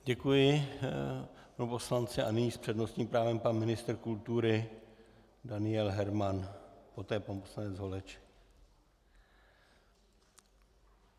Děkuji panu poslanci a nyní s přednostním právem pan ministr kultury Daniel Herman, poté pan poslanec Holeček.